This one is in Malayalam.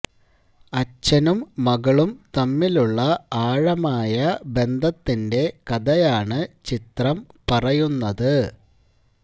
അച്ഛനും മകളും തമ്മിലുള്ള ആഴമായ ബന്ധത്തിന്റെ കഥയാണ് ചിത്രം പറയുന്നത്